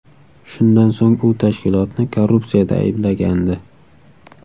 Shundan so‘ng u tashkilotni korrupsiyada ayblagandi.